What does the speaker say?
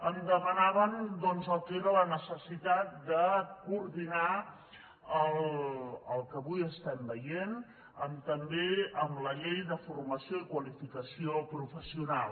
em demanaven doncs el que era la necessitat de coordinar el que avui estem veient també amb la llei de formació i qualificació professional